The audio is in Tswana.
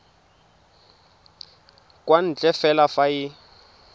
kwa ntle fela fa e